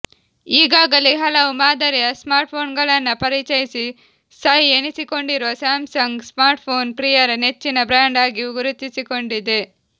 ಈಗಾಗಲೇ ಹಲವು ಮಾದರಿಯ ಸ್ಮಾರ್ಟ್ಫೋನ್ಗಳನ್ನ ಪರಿಚಯಿಸಿ ಸೈ ಎನಿಸಿಕೊಂಡಿರುವ ಸ್ಯಾಮ್ಸಂಗ್ ಸ್ಮಾರ್ಟ್ಫೋನ್ ಪ್ರಿಯರ ನೆಚ್ಚಿನ ಬ್ರ್ಯಾಂಡ್ ಆಗಿ ಗುರುತಿಸಿ ಕೊಂಡಿದೆ